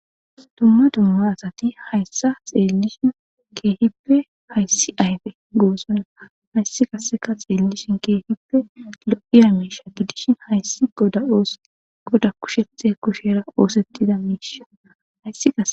duma duma asati hayssa xeellishin keehippe hayssi ayfe goosonna hayssi qaseka xeellishin keehippe lo7iya miisha gidishin hayssi dgoda kushethe kushera oosettida miisha hayssi.